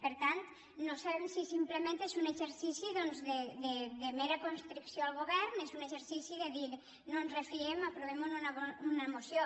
per tant no sabem si simplement és un exercici doncs de mera constricció al govern és un exercici de dir no ens en refiem aprovem ho en una moció